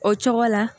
O cogo la